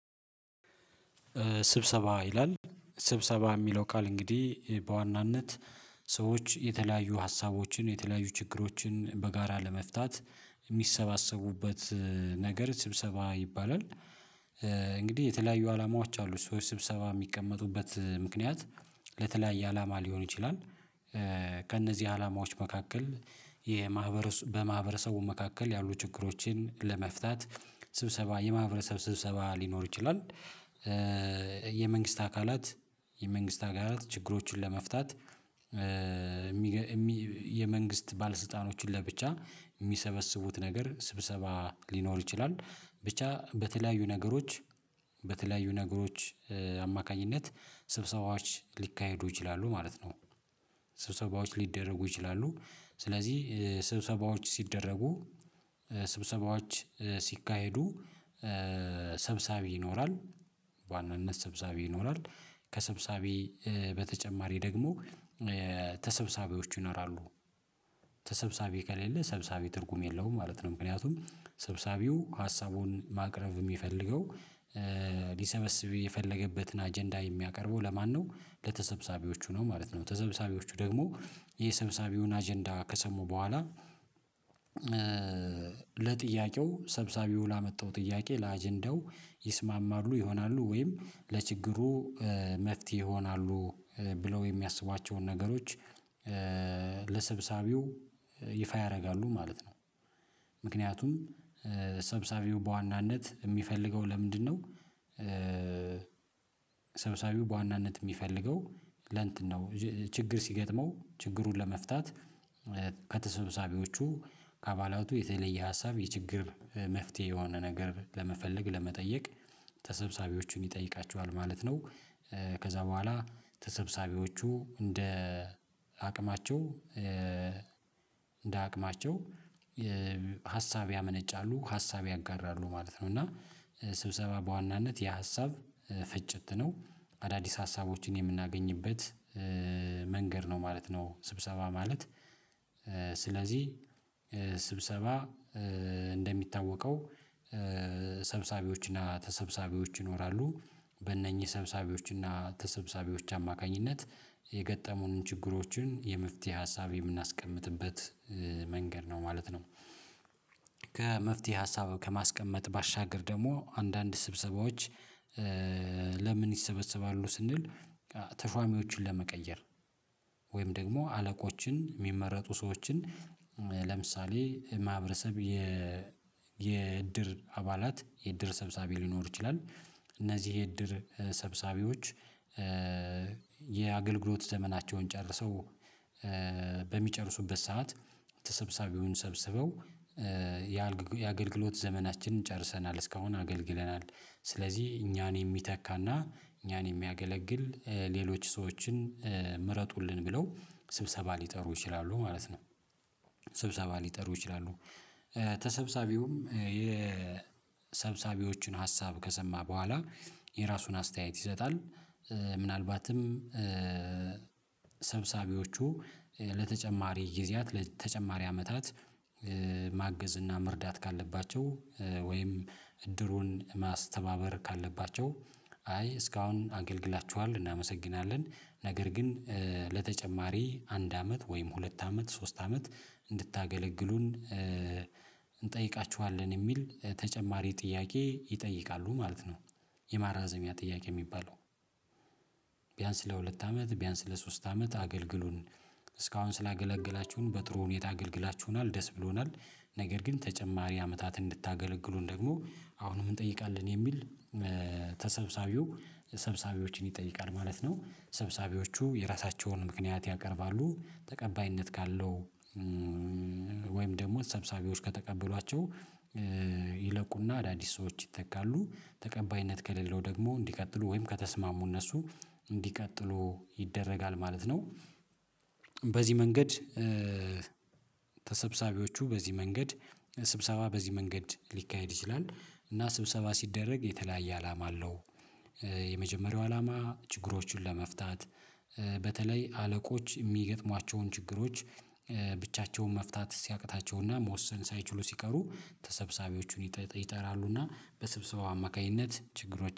ስብሰባ ይላል ስብሰባ የሚለው ቃል እንግዲህ በዋናነት ሰዎች የተለያዩ ሀሳቦችን የተለያዩ ችግሮችን በጋራ ለመፍታት የሚሰባሰቡበት ነገር ስብሰባ ይባላል። እንግዲህ የተለያዩ አላማዎች አሉ ሰዎች ስብሰባ የሚቀመጡበት ምክንያት ለተለያየ አላማ ሊሆን ይችላል። ከእነዚህ አላማዎች መካከል የማህበረሰቡ በማህበረሰቡ መካከል ያሉ ችግሮችን ለመፍታት ስብሰባ የማህበረሰብ ስብሰባ ሊኖር ይችላል። የመንግስት አካላት የመንግስት አካላት ችግሮቹን ለመፍታት። የመንግስት ባለስልጣኖችን ለብቻ የሚሰበስቡት ነገር ስብሰባ ሊኖር ይችላል ብቻ በተለያዩ ነገሮች በተለያዩ ነገሮች አማካኝነት ስብሰባዎች ሊካሄዱ ይችላሉ ማለት ነው። ስብሰባዎች ሊደረጉ ይችላሉ። ስለዚህ ስብሰባዎች ሲደረጉ ስብሰባዎች ሲካሄዱ ሰብሳቢ ይኖራል። ስብሳቢ ይኖራል ከስብሳቢ በተጨማሪ ደግሞ ተሰብሳቢዎች ይኖራሉ። ተሰብሳቢ ከሌለ ሰብሰቢ ትርጉም የለውም ማለት ነው። ምክንያቱም ሰብሳቢው ሀሳቡን ማቅረብ የሚፈልገው ሊሰበስብ የፈለገበትን አጀንዳ የሚያቀርበው ለማነው ለተሰብሳቢዎቹ ነው ማለት ነው። ተሰብሰቢዎቹ ደግሞ የሰብሳቢውን አጀንዳ ከሰሙ በኋላ ለጥያቄው ሰብሳቢው ላመጣው ጥያቄ ለአጀንዳው ይስማማሉ ይሆናሉ ወይም ለችግሩ መፍትሄ ይሆናሉ ብለው የሚያስባቸውን ነገሮች ለሰብሳቢው ይፋ ያደርጋሉ ማለት ነው። ምክንያቱም ሰብሳቢው በዋናነት የሚፈልገው ለምንድነው? ሰብሳቢው በዋናነት የሚፈልገው ለእንትን ነው ችግር ሲገጥመው ችግሩን ለመፍታት ከተሰብሳቢዎቹ ከአባላቱ የተለየ ሀሳብ የችግር መፍትሄ የሆነ ነገር ለመፈለግ ለመጠየቅ ተሰብሳቢዎችን ይጠይቃቸዋል ማለት ነው። ከዛ በኋላ ተሰብሳቢዎቹ እንደ አቅማቸው እንደ አቅማቸው ሀሳብ ያመነጫሉ ሀሳብ ያጋራሉ ማለት ነው። እና ስብሰባ በዋናነት የሀሳብ ፍጭት ነው። አዳዲስ ሀሳቦችን የምናገኝበት መንገድ ነው ማለት ነው። ስብሰባ ማለት ስለዚህ ስብሰባ እንደሚታወቀው ሰብሳቢዎች እና ተሰብሳቢዎች ይኖራሉ በእነኚህ ሰብሳቢዎች እና ተሰብሳቢዎች አማካኝነት የገጠሙንን ችግሮችን የመፍትሄ ሀሳብ የምናስቀምጥበት መንገድ ነው ማለት ነው። ከመፍትሄ ሀሳብ ከማስቀመጥ ባሻገር ደግሞ አንዳንድ ስብሰባዎች ለምን ይሰበሰባሉ ስንል? ተሾሚዎችን ለመቀየር ወይም ደግሞ አለቆችን የሚመረጡ ሰዎችን ለምሳሌ ማህበረሰብ የ የእድር አባላት የእድር ሰብሳቢ ሊኖር ይችላል። እነዚህ የእድር ሰብሳቢዎች የአገልግሎት ዘመናቸውን ጨርሰው ሰዓት ተሰብስቢውን ሰብስበው የአገልግሎት ዘመናችንን ጨርሰናል እስካሁን አገልግለናል። ስለዚህ እኛን የሚተካና እኛን የሚያገለግል ሌሎች ሰዎችን ምረጡልን ብለው ስብሰባ ሊጠሩ ይችላሉ ማለት ነው። ስብሰባ ሊጠሩ ይችላሉ። ተሰባሳቢውም የሰብሳቢዎችን ሀሳብ ከሰማ በኋላ የራሱን አስተያየት ይሰጣል። ምናልባትም ሰብሳቢዎቹ ለተጨማሪ ጊዜያት ለተጨማሪ አመታት ማገዝ እና መርዳት ካለባቸው ወይም እድሩን ማስተባበር ካለባቸው አይ እስካሁን አገልግላችኋል እናመሰግናለን ነገር ግን ለተጨማሪ አንድ አመት ወይም ሁለት አመት ሶስት አመት እንድታገለግሉን እንጠይቃችኋለን የሚል ተጨማሪ ጥያቄ ይጠይቃሉ ማለት ነው። የማራዘሚያ ጥያቄ የሚባለው ቢያንስ ለሁለት አመት ቢያንስ ለሶስት አመት አገልግሉን እስካሁን ስላገለገላችሁን በጥሩ ሁኔታ አገልግላችሁናል ደስ ብሎናል። ነገር ግን ተጨማሪ አመታትን እንድታገለግሉን ደግሞ አሁንም እንጠይቃለን የሚል ተሰብሳቢው ሰብሳቢዎችን ይጠይቃል ማለት ነው። ሰብሳቢዎቹ የራሳቸውን ምክንያት ያቀርባሉ ተቀባይነት ካለው ወይም ደግሞ ሰብሳቢዎች ከተቀበሏቸው ይለቁና አዳዲስ ሰዎች ይተካሉ ተቀባይነት ከሌለው ደግሞ እንዲቀጥሉ ወይም ከተስማሙ እነሱ እንዲቀጥሉ ይደረጋል ማለት ነው። በዚህ መንገድ ተሰብሰቢዎቹ በዚህ መንገድ ስብሰባ በዚህ መንገድ ሊካሄድ ይችላል። እና ስብሰባ ሲደረግ የተለያየ አላማ አለው። የመጀመሪያው አላማ ችግሮቹን ለመፍታት በተለይ አለቆች የሚገጥሟቸውን ችግሮች ብቻቸውን መፍታት ሲያቅታቸውና መወሰን ሳይችሉ ሲቀሩ ተሰብሰቢዎቹን ይጠራሉና በስብሰባው አማካኝነት ችግሮች